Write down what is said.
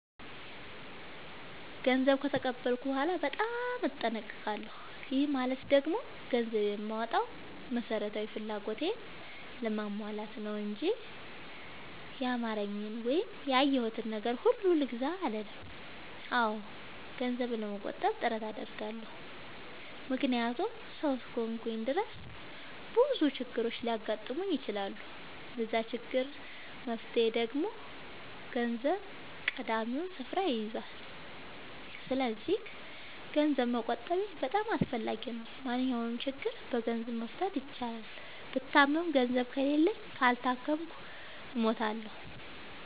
ገንዘብ ከተቀበልኩ በኋላ በጣም እጠነቀቃለሁ። ይህ ማለት ደግሞ ገንዘብ የማወጣው መሠረታዊ ፍላጎቴን ለማሟላት ነው እንጂ ያማረኝን ወይም ያየሁትን ነገር ሁሉ ልግዛ አልልም። አዎ ገንዘብ ለመቆጠብ ጥረት አደርጋለሁ። ምክንያቱም ሠው እስከሆንኩኝ ድረስ ብዙ ችግሮች ሊያጋጥሙኝ ይችላሉ። ለዛ ችግር መፍትሄ ደግሞ ገንዘብ ቀዳሚውን ስፍራ ይይዛል። ሰስለዚክ ገንዘብ መቆጠቤ በጣም አስፈላጊ ነው። ማንኛውንም ችግር በገንዘብ መፍታት ይቻላል። ብታመም ገንዘብ ከሌለኝ እና ካልታከምኩ እሞታሁ።